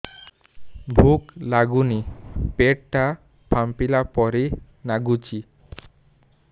ଭୁକ ଲାଗୁନି ପେଟ ଟା ଫାମ୍ପିଲା ପରି ନାଗୁଚି